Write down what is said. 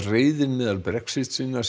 reiðin meðal Brexit sinna